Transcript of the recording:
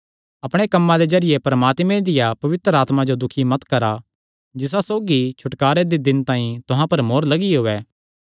अपणे कम्मां दे जरिये परमात्मे दिया पवित्र आत्मा जो दुखी मत करा जिसा सौगी छुटकारे दे दिन तांई तुहां पर मोहर लगियो ऐ